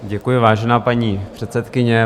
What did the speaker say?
Děkuji, vážená paní předsedkyně.